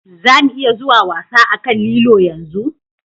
Za mu iya zuwa wasa a kan lilo yanzu?